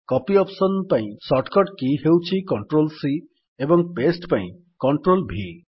copy option ପାଇଁ shortcut key ହେଉଛି CTRLC ଏବଂ ପାସ୍ତେ ପାଇଁ CTRLV